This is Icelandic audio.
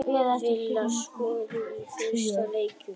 Villa skoraði í fyrsta leiknum